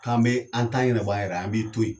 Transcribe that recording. K'an be an tan ɲɛnabɔ a yɛrɛ ye, an b'i to yen.